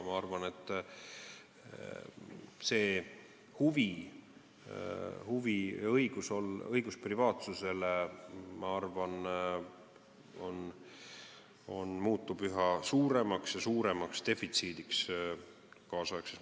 Ma arvan, et õigus privaatsusele muutub kaasaegses maailmas üha suuremaks ja suuremaks defitsiidiks.